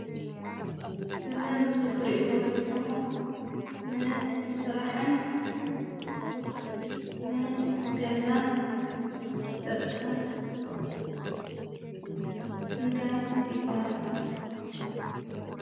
እዚ ምስሊ ትሪእዎ ዘለኩም ንስራሕን ንገዛን ዝጠቅም እንታይ ይበሃል?